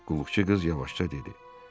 Qulluqçu qız yavaşca dedi: